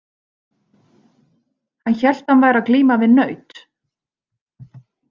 Hann hélt að hann væri að glíma við naut.